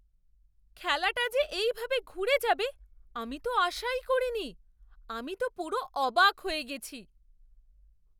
খেলাটা যে এই ভাবে ঘুরে যাবে আমি তো আশাই করিনি, আমি তো পুরো অবাক হয়ে গেছি!